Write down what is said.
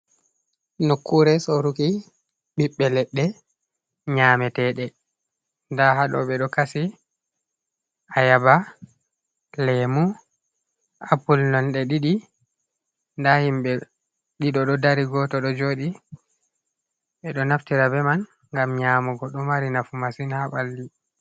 Nokkuure sooruki ɓiɓɓe leɗɗe nyameteeɗe, ndaa haaɗo ɓe ɗo kasi ayaaba, leemu, apul nonde ɗiɗi. Ndaa himɓe ɗiɗo ɗo dari, gooto ɗo jooɗi. Ɓe ɗo naftira be man, ngam nyaamugo, ɗo mari nafu masin haa ɓalli.